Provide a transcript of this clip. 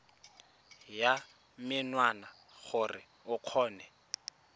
ya menwana gore o kgone